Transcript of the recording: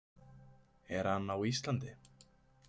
Er hann á Íslandi?